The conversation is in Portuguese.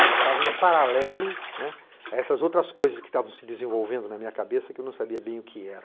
Ela estava em paralelo, né, a essas outras coisas que estavam se desenvolvendo na minha cabeça, que eu não sabia bem o que era.